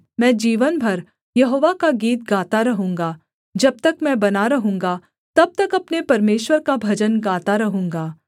मैं जीवन भर यहोवा का गीत गाता रहूँगा जब तक मैं बना रहूँगा तब तक अपने परमेश्वर का भजन गाता रहूँगा